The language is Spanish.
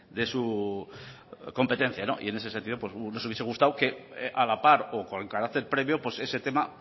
de su competencia en ese sentido nos hubiese gustado a la par o con carácter previo ese tema